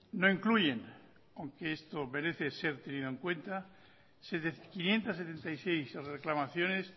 no incluyen aunque esto merece ser tenido en cuenta quinientos setenta y seis reclamaciones